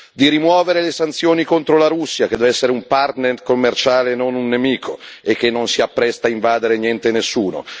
di rimuovere le sanzioni contro la Russia, che deve essere un partner commerciale e non un nemico, e che non si appresta a invadere niente e nessuno